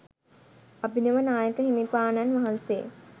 අභිනව නායක හිමිපාණන් වහන්සේ